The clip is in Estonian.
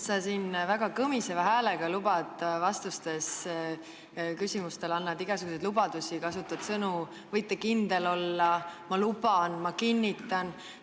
Sa siin väga kõmiseva häälega annad küsimustele vastates igasuguseid lubadusi, kasutad sõnu "võite kindel olla", "ma luban", "ma kinnitan".